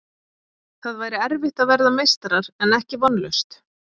Það væri erfitt að verða meistarar en ekki vonlaust.